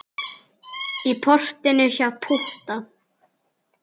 Í portinu hjá Pútta.